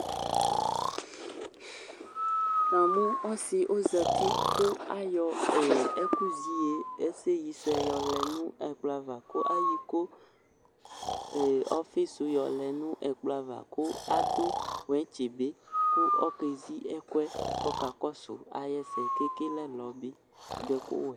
Na mʋ ɔsɩ ozati ƙʋ aƴɔ ɛƙʋ zɛ iƴeƴe ƴɔ lɛ nʋ ɛƙplɔ avaƘʋ aƴɔ iƙo ɔfɩ sʋ ƴɔ lɛ nʋ ɛƙplɔ ava ƙʋ ƙʋ aɖʋ wɛtsɩ bɩ ,ƙʋ oƙesi ɛƙʋɛ ƙʋ ɔƙa ƙɔsʋ aƴʋ ɛsɛ, te ƙele ɛlɔ bɩ ƙʋ ta ɖʋ ɛƙʋ wɛ